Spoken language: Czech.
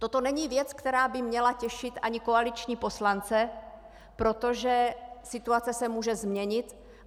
Toto není věc, která by měla těšit ani koaliční poslance, protože situace se může změnit.